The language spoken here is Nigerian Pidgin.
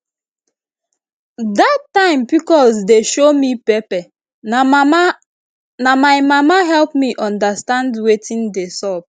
that time pcos dey show me pepper na my mama help me understand wetin dey sup